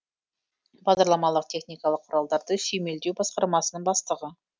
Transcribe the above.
бағдарламалық техникалық құралдарды сүйемелдеу басқармасының бастығы